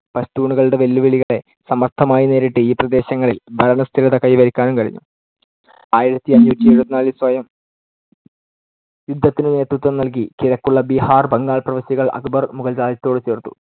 പഷ്ടൂൺകളുടെ വെല്ലുവിളികളെ സമർത്ഥമായി നേരിട്ട് ഈ പ്രദേശങ്ങളിൽ ഭരണസ്ഥിരത കൈവരിക്കാനും കഴിഞ്ഞു. ആയിരത്തിഅഞ്ഞൂറ്റി എഴുപത്തിനാലിൽ സ്വയം യുദ്ധത്തിനു നേതൃത്വം നൽകി കിഴക്കുളള ബിഹാർ, ബംഗാൾ പ്രവിശ്യകൾ അക്ബർ മുഗൾ രാജ്യത്തോടു ചേർത്തു.